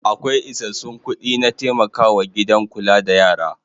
Akwai isassun kuɗi na taimakawa gidan kula da yara.